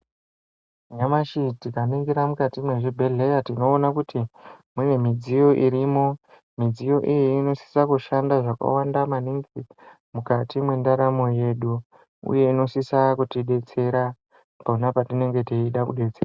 Nyamashi tikaningira mukati mwezvibhedheya tinoona kuti ,mune midziyo irimo. Midziyo iyi, inosisa kushanda zvakawanda maningi ,mukati mwendaramo yedu, uye inosisa kutidetsera ,pona patinenge teida kudetse.